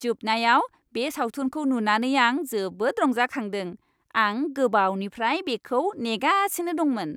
जोबनायाव बे सावथुनखौ नुनानै आं जोबोद रंजाखांदों। आं गोबावनिफ्राय बेखौ नेगासिनो दंमोन।